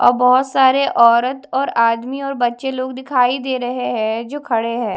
औ बहोत सारे औरत और आदमी और बच्चे लोग दिखाई दे रहे है जो खड़े है।